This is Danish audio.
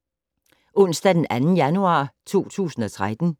Onsdag d. 2. januar 2013